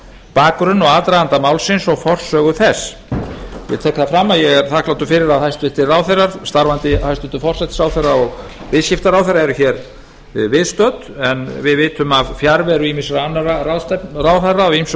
bakgrunn og aðdraganda málsins og forsögu þess ég tek það fram að ég er þakklátur fyrir að hæstvirtir ráðherrar starfandi hæstvirtur forsætisráðherra og viðskiptaráðherra eru hér viðstödd en við vitum af fjarveru ýmissa annarra ráðherra af ýmsum